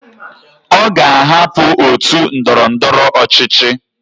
Oga ahapu otu ndọrọ ndọrọ ọchịchị